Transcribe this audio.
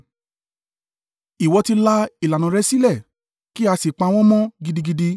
Ìwọ ti la ìlànà rẹ̀ sílẹ̀ kí a sì pa wọ́n mọ́ gidigidi.